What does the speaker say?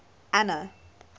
anna